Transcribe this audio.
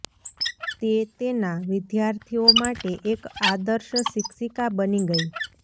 તે તેના વિદ્યાર્થીઓ માટે એક આદર્શ શિક્ષિકા બની ગઈ